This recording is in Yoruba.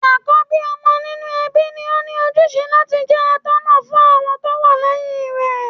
Àkọ́bí ọmọ nínú ẹbí ni óní ojúṣe láti jẹ́ atọ́ná fún àwọn tó wà lẹ́yìn rẹ̀.